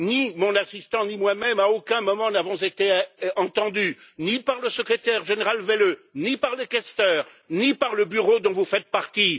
Ni mon assistant ni moi même, à aucun moment, n'avons été entendus ni par le Secrétaire général Welle, ni par les questeurs, ni par le Bureau dont vous faites partie.